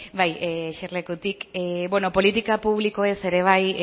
bai eserlekutik beno politika publikoez ere bai